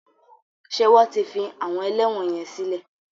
Ṣé wọ́n ti fi àwọn ẹlẹ́wọ̀n yẹn sílè?